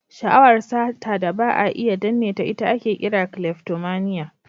Sha'awar sata da ba a iya danneta, ita ake kira "kleftomania".